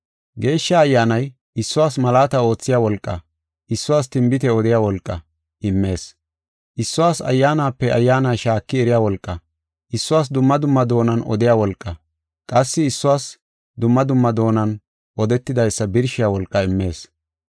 Geeshsha Ayyaanay issuwas malaata oothiya wolqaa, issuwas tinbite odiya wolqaa immees. Issuwas ayyaanape ayyaana shaaki eriya wolqaa, issuwas dumma dumma doonan odiya wolqaa, qassi issuwas dumma dumma doonan odetidaysa birshiya wolqaa immees.